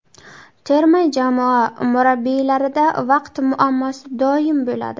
Terma jamoa murabbiylarida vaqt muammosi doim bo‘ladi.